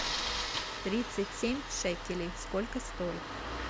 тридцать семь шекелей сколько стоит